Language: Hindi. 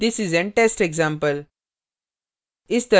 this is an test example